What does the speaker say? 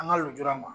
An ka lujura ma